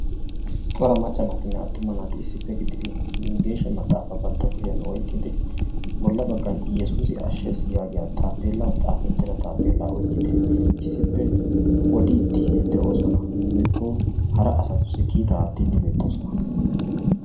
Cora macca naatinne attumma naati issippe gididi geeshsha maxaafaa bantta kushiyan oyqqidi bolla baggan iyyesuusi ashshees yaagiya taappellaa xaafettida taappeellaa oyqqidi issippe odiiddi de'oosona woykko hara asatussi kiitaa aattiiddi beettoosona.